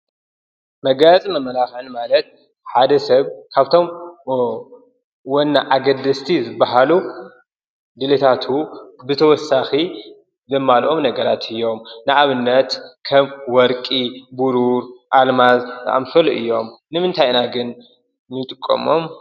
መጋየፅን መመላኽዕን ማለት ሓደ ሰብ ካብቶም ወኒ ኣገደስቲ ዝበሃሉ ድሌታቱ ብተወሳኺ ዘማልኦም ነገራት እዮም ። ንኣብነት ከም ወርቂ፣ ብሩር ፣ኣልማዝ ፣ዝኣምሰሉ እዮም ። ንምንታይ ኢና ግን ንጥቀሞም ?